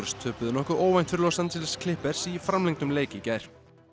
töpuðu nokkuð óvænt fyrir Los Angeles Clippers í gær